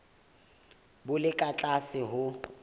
bo le ka tlase ho